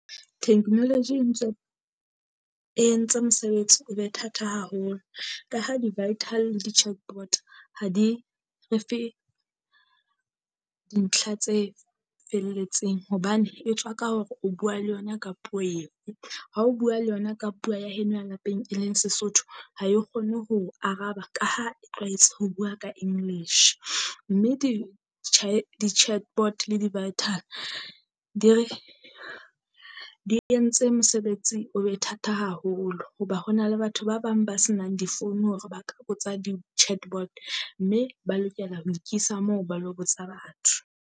Technology e ntse e entse mosebetsi o be thata ka haholo ka ha di-vital le di chat bot ha di re fe dintlha tse felletseng. Hobane e tswa ka hore o bua le yona ka puo eo, ha o bua le yona ka puo ya heno lapeng e leng Sesotho. Ha e kgone ho o araba ka ha e tlwaetse ho bua ka English, mme di di-chat bot le di-vital di re di entse mosebetsi o be thata haholo. Hoba ho na le batho ba bang ba senang difounu hore ba ka botsa di-chat bot mme ba lokela ho ikisa moo ba lo botsa batho.